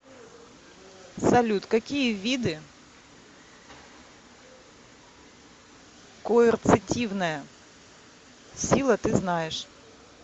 салют какие виды коэрцитивная сила ты знаешь